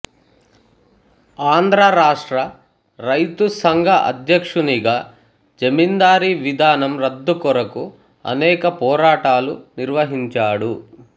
ఆంధ్ర రాష్ట్ర రైతు సంఘ అధ్యక్షునిగా జమీందారీ విధానం రద్దు కొరకు అనేక పోరాటాలు నిర్వహించాడు